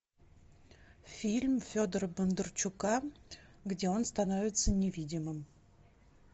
фильм федора бондарчука где он становится невидимым